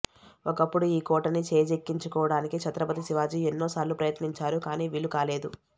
ఒకప్పుడు ఈ కోటని చేజిక్కించుకోవడానికి ఛత్రపతి శివాజీ ఎన్నో సార్లు ప్రయత్నించారు కానీ వీలుకాలేదు